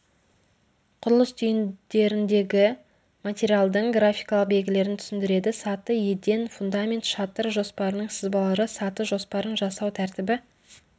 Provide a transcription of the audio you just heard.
құрылыс түйіндеріндегі материалдың графикалық белгілерін түсіндіреді саты еден фундамент шатыр жоспарының сызбалары саты жоспарын жасау тәртібі